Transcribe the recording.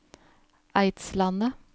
Eidslandet